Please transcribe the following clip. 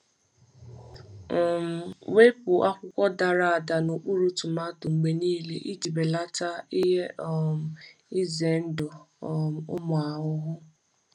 um Wepụ akwụkwọ dara ada n’okpuru tomato mgbe niile iji belata ihe um ize ndụ um ụmụ ahụhụ.